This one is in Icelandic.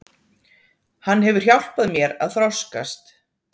Hann hefur hjálpað mér að þroskast.